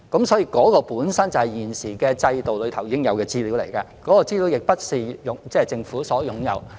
所以，有關資料本身就是現時制度內已存在的，並不是由政府擁有。